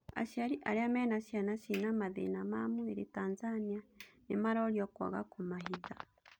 Aciarĩ arĩa mena cĩana cina mathĩna ma mwĩrĩ Tanzania nĩmarorio kwaga kũmahitha.